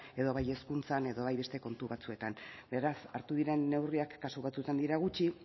edo bai hezkuntzan edo bai beste kontu batzuetan beraz hartu diren neurriak kasu batzuetan dira gutxi